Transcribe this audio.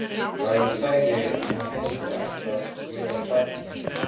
Já, ég sagði að ég hefði ætlað að gefa barnið.